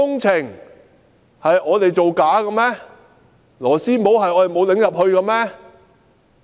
是我們沒有把螺絲帽扭進去嗎？